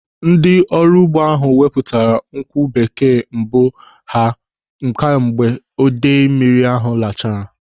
Ndị ọrụ ugbo ahụ wepụtara nkwụ bekee mbụ ha kemgbe idei mmiri lachara.